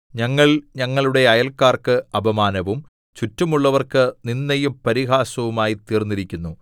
ഞങ്ങൾ ഞങ്ങളുടെ അയല്ക്കാർക്ക് അപമാനവും ചുറ്റുമുള്ളവർക്ക് നിന്ദയും പരിഹാസവും ആയി തീർന്നിരിക്കുന്നു